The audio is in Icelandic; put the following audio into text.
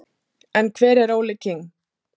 En hver er Óli King?